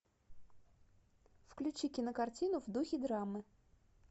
включи кинокартину в духе драмы